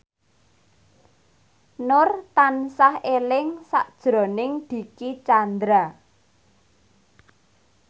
Nur tansah eling sakjroning Dicky Chandra